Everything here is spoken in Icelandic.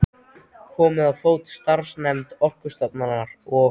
Komið á fót samstarfsnefnd Orkustofnunar og